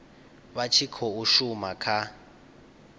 vha tshi khou shuma kha